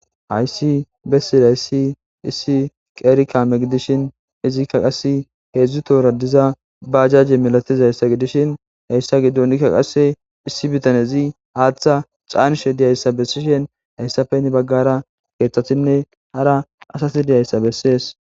hayssi bessidayssi issi qeerikame gidishin izikka qassi heedzdzu toora diza ba ajaje milatiza hayssa gidishin hayssa giddonikka qase issi bitan ezi haaththa caanishe diyayssa bessishin hayssa peni baggara keeththatinne hara asati diyayssa bessees